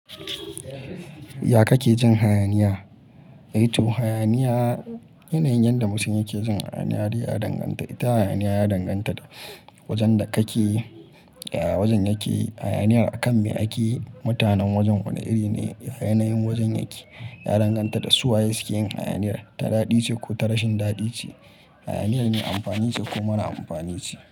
Ya kake jin hayaniya? Eh toh hayaniya yanayin yadda mutum yake jin hayaniya ya danganta. Ita hayaniya ya danganta da wajen da kake, ya wajen yake hayaniyar a kan me ake, mutanen wajen wane iri ne, yanayin wajen yake ya danganta da su waye sukeyin hayaniyar ta daɗi ce ko ta rashin daɗi ce, hayaniyar me amfani ce ko mara amfani ce.